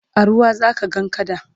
a ruwa zaka ga kada